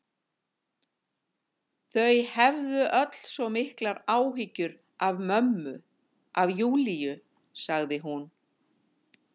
Þau hefðu öll svo miklar áhyggjur af mömmu, af Júlíu, sagði hún.